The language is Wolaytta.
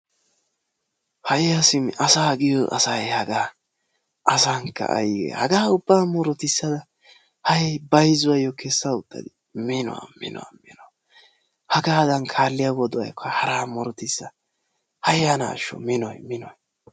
Haya simi asaa giiyoo asay haggaa asaankka aygee haggaa ubba mututtissada hayi bayzuuwaayoo kessa uttadi mino mino mino haggadan kaaliyaa wodiyaayokka muruttissa hayanaasho minoy minoy!